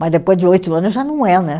Mas depois de oito anos já não é, né?